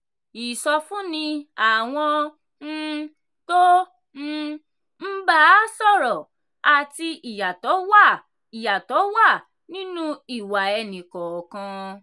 ìsọfúnni àwọn um tó um ń bá a sọ̀rọ̀ àti ìyàtọ̀ wà ìyàtọ̀ wà nínú ìwà ẹni kọọkan.